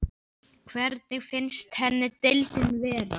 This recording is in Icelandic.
Hvernig finnst henni deildin vera?